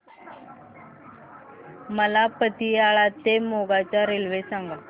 मला पतियाळा ते मोगा च्या रेल्वे सांगा